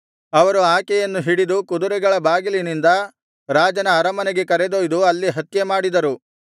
ಅವರು ಆಕೆಯನ್ನು ಹಿಡಿದು ಕುದುರೆಗಳ ಬಾಗಿಲಿನಿಂದ ರಾಜನ ಅರಮನೆಗೆ ಕರೆದೊಯ್ದು ಅಲ್ಲಿ ಹತ್ಯೆ ಮಾಡಿದರು